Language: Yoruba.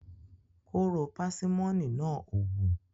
Kóró pásímọ́nì náà ò wù.